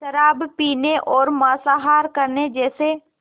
शराब पीने और मांसाहार करने जैसे